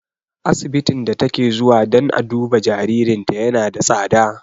Asibitin da take zuwa dan a duba jaririnta yana da tsada.